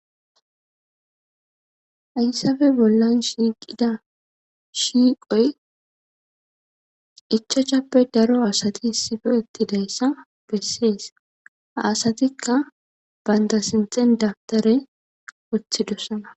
Ayssafe bollan shiiqida shiiqoy echachappe daro asati issife ettidayssa bessees haasatikka baynda sinxen dabtare wothidossana.